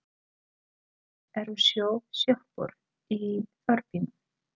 Það eru sjö sjoppur í þorpinu!